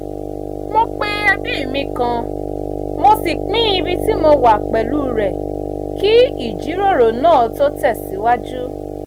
mo pe ẹbí mi kan mo sì pín ibi ti mo wà pẹ̀lú rẹ̀ kí ìjíròrò náà tó tẹ̀sìwájú